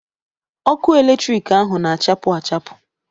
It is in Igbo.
Ọkụ eletrik ahụ na-achapụ achapụ.